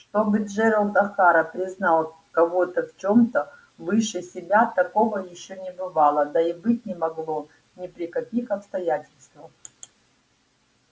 чтобы джералд охара признал кого-то в чем-то выше себя такого ещё не бывало да и быть не могло ни при каких обстоятельствах